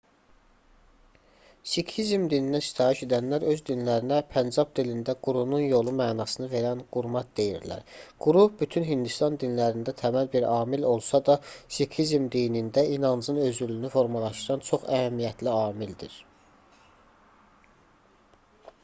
siqhizm dininə sitayiş edənlər öz dinlərinə pəncab dilində qurunun yolu mənasını verən qurmat deyirlər quru bütün hindistan dinlərində təməl bir amil olsa da siqhizm dinində inancın özülünü formalaşdıran çox əhəmiyyətli amildir